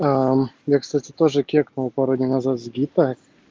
аа я кстати тоже кекнул пару дней назад с гипо